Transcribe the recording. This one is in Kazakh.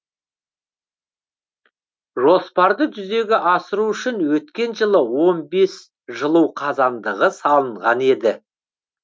жоспарды жүзеге асыру үшін өткен жылы он бес жылу қазандығы салынған еді